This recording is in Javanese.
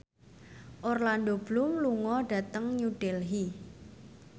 Orlando Bloom lunga dhateng New Delhi